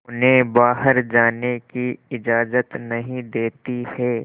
उन्हें बाहर जाने की इजाज़त नहीं देती है